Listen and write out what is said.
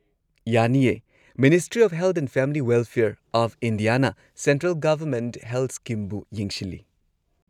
ꯌꯥꯅꯤꯌꯦ꯫ Ministry of health and family welfare of ꯏꯟꯗꯤꯌꯥꯅ central government health ꯁ꯭ꯀꯤꯝꯕꯨ ꯌꯦꯡꯁꯤꯜꯂꯤ꯫